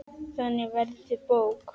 Þannig verður til bók.